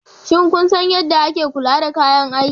Shin kun san yadda ake kula da kayan aikin?